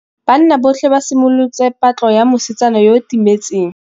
Banna botlhê ba simolotse patlô ya mosetsana yo o timetseng.